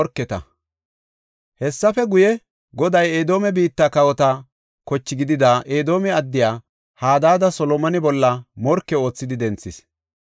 Hessafe guye, Goday Edoome biitta kawota koche gidida, Edoome addiya Hadaada Solomone bolla morke oothidi denthis.